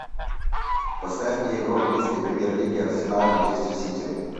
поставь мне игру английской премьер лиги арсенал манчестер сити